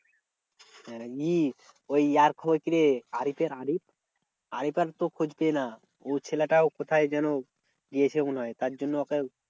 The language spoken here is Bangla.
হ্যাঁ ই ও ছেলেটাও কোথাও যেন গিয়েছে মনে হয় তার জন্য ওকে